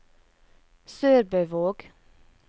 SørbØvåg